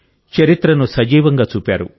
చరిత్రను సజీవంగా చూపారు